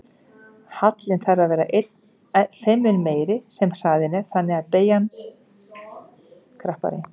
Hallinn þarf að vera þeim mun meiri sem hraðinn er meiri og beygjan krappari.